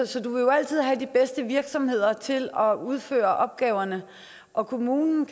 så du vil jo altid have de bedste virksomheder til at udføre opgaverne og kommunen